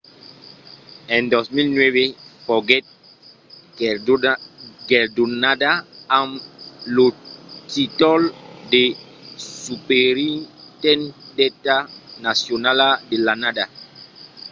en 2009 foguèt guerdonada amb lo tíitol de superintendenta nacionala de l'annada